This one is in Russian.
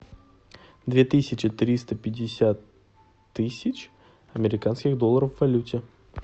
две тысячи триста пятьдесят тысяч американских долларов в валюте